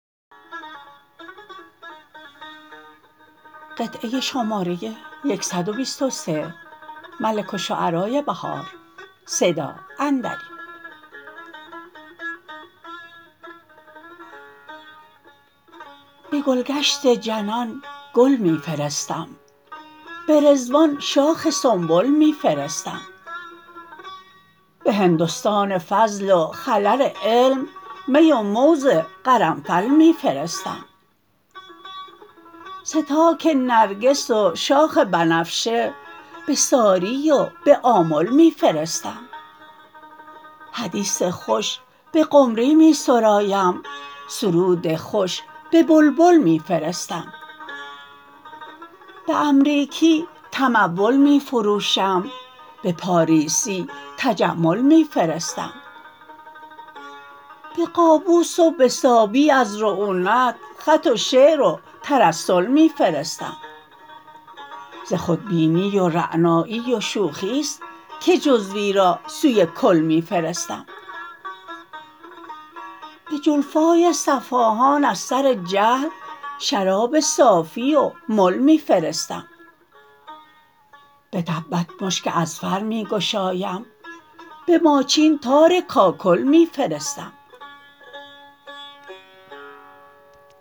به گلگشت جنان گل می فرستم به رضوان شاخ سنبل می فرستم به هندستان فضل و خلر علم می و موز قرنفل می فرستم ستاک نرگس وشاخ بنفشه به ساری و به آمل می فرستم حدیث خوش به قمری می سرایم سرود خوش به بلبل می فرستم به امریکی تمول می فروشم به پاریسی تجمل می فرستم به قابوس و به صابی از رعونت خط و شعر و ترسل می فرستم ز خودبینی و رعنایی و شوخی است که جزوی را سوی کل می فرستم به جلفای صفاهان از سر جهل شراب صافی و مل می فرستم به تبت مشک اذفر می گشایم به ماچین تار کاکل می فرستم